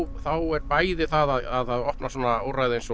þá er bæði að það opna svona úrræði eins og